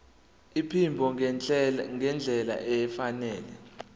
iphimbo ngendlela efanele